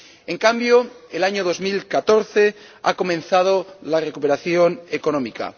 En cambio, en el año 2014 ha comenzado la recuperación económica.